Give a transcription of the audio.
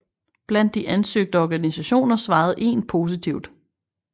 Blandt de ansøgte organisationer svarede en positivt